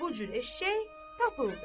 Bu cür eşşək tapıldı.